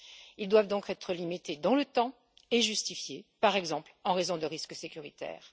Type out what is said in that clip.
Ils doivent donc être limités dans le temps et justifiés, par exemple, en raison de risques sécuritaires.